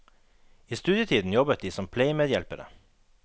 I studietiden jobbet de som pleiemedhjelpere.